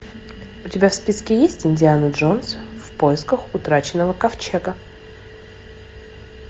у тебя в списке есть индиана джонс в поисках утраченного ковчега